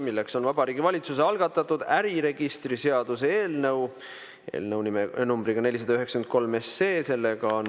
See on Vabariigi Valitsuse algatatud äriregistri seaduse eelnõu numbriga 493.